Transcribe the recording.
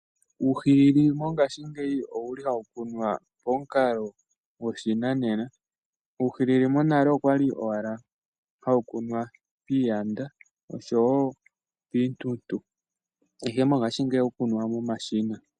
Uuhilili mongaashingeyi owuli hawu kunwa momukalo goshinanena. Uuhilili monale okwali owala hawu kunwa piiyanda, oshowo piintuntu, ihe mongaashingeyi ohawu kunwa momashina.